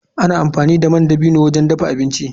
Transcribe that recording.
Ana amfani da man dabino wajen dafa abinci.